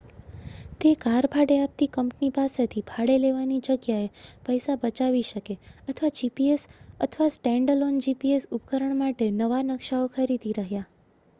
તે કાર ભાડે આપતી કંપની પાસેથી ભાડે લેવાની જગ્યાએ પૈસા બચાવી શકે અથવા જીપીએસ અથવા સ્ટેન્ડઅલોન જીપીએસ ઉપકરણ માટે નવા નકશાઓ ખરીદી રહ્યા